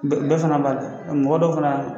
Bɛ bɛɛ fana b'a kɛ, mɔgɔ dɔw fana